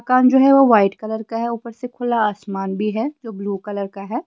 दुकान जो हैवो वाइट कलर का है ऊपर से खुला आसमान भी है ब्लू कलर का है।